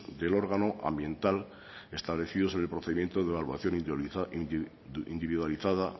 del órgano ambiental establecidos en el procedimiento de evaluación individualizada